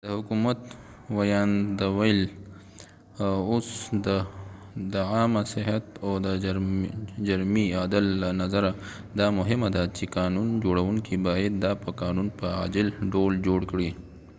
د حکومت وياند وويل اوس د عامه صحت او د جرمی عدل له نظره دا مهمه ده چې قانون جوړونکې باید دا په قانون په عاجل ډول جوړ کړي